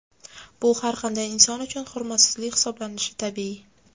Bu har qanday inson uchun hurmatsizlik hisoblanishi tabiiy.